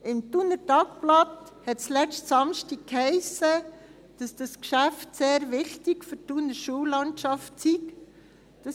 Im «Thuner Tagblatt» hiess es letzten Samstag, dass dieses Geschäft sehr wichtig für die Thuner Schullandschaft sei.